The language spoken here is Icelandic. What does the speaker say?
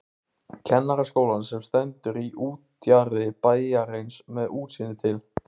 Kennaraskólann sem stendur í útjaðri bæjarins með útsýni til